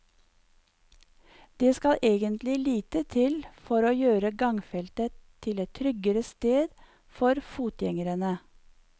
Det skal egentlig lite til for å gjøre gangfeltet til et tryggere sted for fotgjengerne.